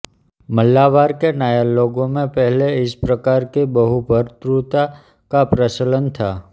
मलावार के नायर लोगों में पहले इस प्रकार की बहुभर्तृता का प्रचलन था